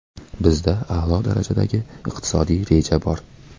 Bizda a’lo darajadagi iqtisodiy reja bor.